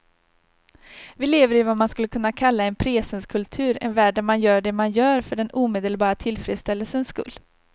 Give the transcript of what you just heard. Vi lever i vad man skulle kunna kalla en presenskultur, en värld där man gör det man gör för den omedelbara tillfredsställelsens skull.